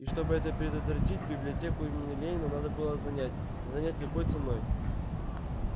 и чтобы это предотвратить библиотеку имени ленина надо было занять занять любой ценой